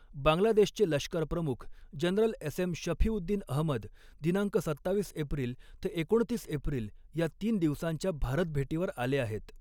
बांगलादेशचे लष्करप्रमुख general S M Shafiuddin Ahmed दिनांक सत्तावीस एप्रिल ते एकोणतीस एप्रिल या तीन दिवसांच्या भारतभेटीवर आले आहेत.